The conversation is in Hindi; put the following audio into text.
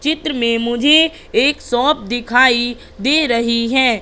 चित्र में मुझे एक शॉप दिखाई दे रही है।